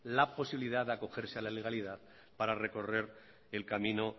la posibilidad de acogerse a la legalidad para recorrer el camino